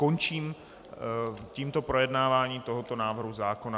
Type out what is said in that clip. Končím tímto projednávání tohoto návrhu zákona.